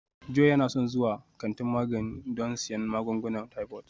Joy yana son zuwa kantin magani don siyan magungunan typhoid